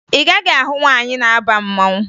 Ị gaghị ahụ nwaanyị na-aba mmanwụ